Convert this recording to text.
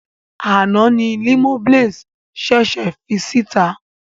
Àná ni Limoblaze ṣèṣè fi síta.